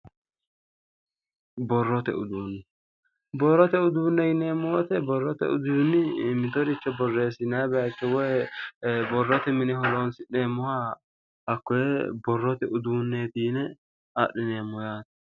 Borrote uduunne. borrote uduunne yineemmo woyiite borrote uduunni mitoricho borrote horonsi'neemoha hakkoye borrote uduunneeti yine adhineemmo yaate borrote uduunni,